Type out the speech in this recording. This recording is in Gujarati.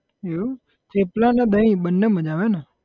એવું થેપલા અને દહીં બને મજા આવે હે ને?